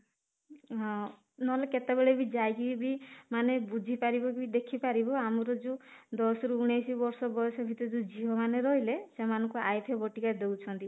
ହଁ, ନହେଲେ କେତେ ବେଳେ ବି ଯାଇକି ବି ମାନେ ବୁଝିପାରିବ ବି ଦେଖିପାରିବ ଆମର ଯୋଉ ଦଶ ରୁ ଉଣେଇଶି ବର୍ଷ ବୟସ ଭିତରେ ଯୋଉ ଝିଅ ମାନେ ରହିଲେ ସେମାନଙ୍କୁ ବଟିକା ଦଉଛନ୍ତି